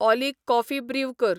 ऑली coffee brew कर